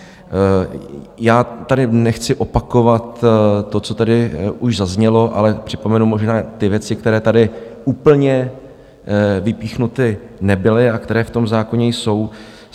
Já tady nechci opakovat to, co tady už zaznělo, ale připomenu možná ty věci, které tady úplně vypíchnuty nebyly a které v tom zákoně jsou.